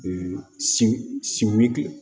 sin wuli